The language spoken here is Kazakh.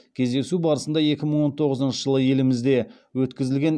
кездесу барысында екі мың он тоғызыншы жылы елімізде өткізілген